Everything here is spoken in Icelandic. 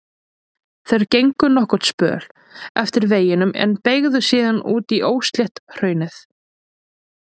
Þeir gengu nokkurn spöl eftir veginum en beygðu síðan út í óslétt hraunið.